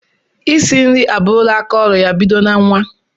Isi nri aburula aka ọlụ ya bido na nwa.